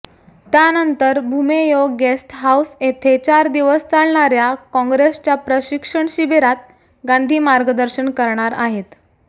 त्यांनतर भुमेयो guest house येथे चार दिवस चालणार्या कॉंग्रेसच्या प्रशिक्षण शिबिरात गांधी मार्गदर्शन करणार आहेत